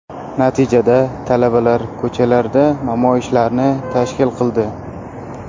Natijada talabalar ko‘chalarda namoyishlarni tashkil qildi.